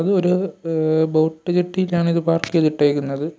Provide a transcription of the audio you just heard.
ഇത് ഒരു a boat ജെട്ടിയിലാണ് ഇത് പാർക്ക് ചെയ്തിട്ടേക്കുന്നത്.